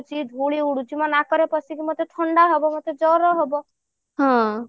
ଉଡୁଛି ଧୁଳି ଉଡୁଛି ମୋ ନାକରେ ପସିକି ମତେ ଥଣ୍ଡା ହବ ମତେ ଜର ହବ